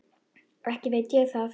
Ekki veit ég það.